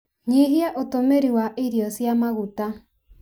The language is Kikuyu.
Nyihia ũtũmĩri wa irio cia maguta.